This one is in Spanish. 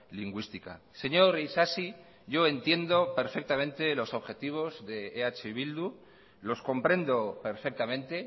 lingüística señor isasi yo entiendo perfectamente los objetivos de eh bildu los comprendo perfectamente